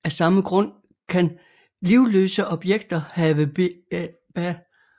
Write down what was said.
Af samme grund kan livløse objekter have Ba